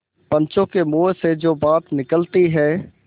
पंचों के मुँह से जो बात निकलती है